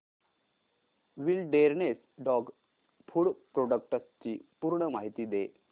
wilderness dog food products ची पूर्ण माहिती दे